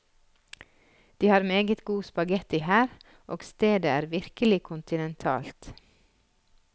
De har meget god spaghetti her, og stedet er virkelig kontinentalt.